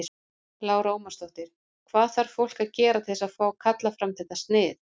Lára Ómarsdóttir: Hvað þarf fólk að gera til þess að fá, kalla fram þetta snið?